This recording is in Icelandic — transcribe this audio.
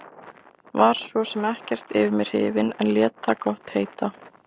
Var svo sem ekkert yfir mig hrifinn en lét það gott heita.